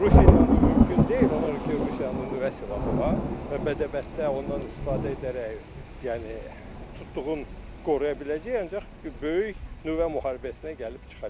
Rusiya ilə bu mümkün deyil, ona görə ki Rusiyanın nüvə silahı var və bədəbətdə ondan istifadə edərək, yəni tutduğun qoruya biləcəyik, ancaq böyük nüvə müharibəsinə gəlib çıxa bilər.